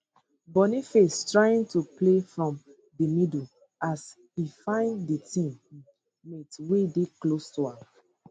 boniface trying to play from di middle as um e find di team um mate wey dey close to am